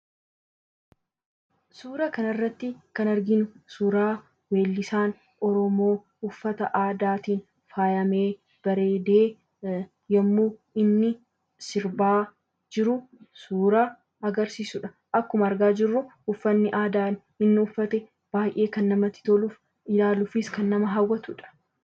Suuraa kanarratti kan arginu suuraa gurbaan yommuu uffata aadaa faayamee bareedee yommuu inni sirbaa jiru suuraa agarsiisudha. Akkuma argaa jiru uffanni aadaa inni uffate kan baay'ee namatti tolu ilaaluufis kan nama hawwatudha.